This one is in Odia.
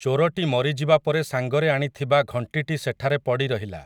ଚୋରଟି ମରିଯିବାପରେ ସାଂଗରେ ଆଣିଥିବା ଘଂଟିଟି ସେଠାରେ ପଡ଼ିରହିଲା ।